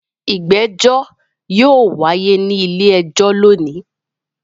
Ìgbẹ́jọ́ yóò wáyé ní ilé-ẹjọ́ lónìí.